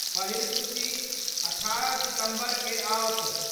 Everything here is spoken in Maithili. पहिल सूची 18 सितंबर क' आओत।